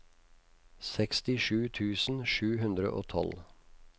sekstisju tusen sju hundre og tolv